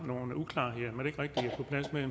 nogle uklarheder